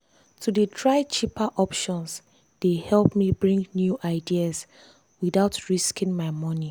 to dey try cheaper options dey help me bring new ideas without risking my money.